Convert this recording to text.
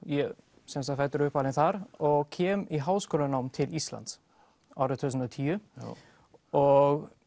sem sagt fæddur og uppalinn þar og kem í háskólanám til Íslands árið tvö þúsund og tíu og